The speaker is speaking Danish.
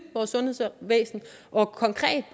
sundhedsvæsenet og konkret